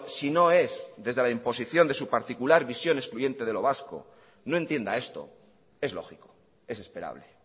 si no es desde la imposición de su particular visión excluyente de lo vasco no entienda esto es lógico es esperable